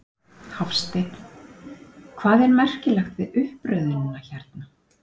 Hafsteinn: Hvað er merkilegt við uppröðunina hérna?